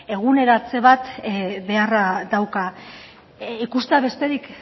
eguneratze bat beharra dauka ikustea besterik